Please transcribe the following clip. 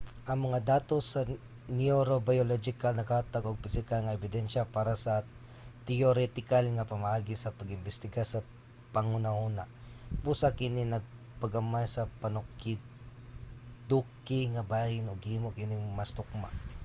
ang mga datos sa neurobiological naghatag og pisikal nga ebidensya para sa teoretikal nga pamaagi sa pag-imbestiga sa panghunahuna. busa kini nagpagamay sa panukiduki nga bahin ug gihimo kining mas tukma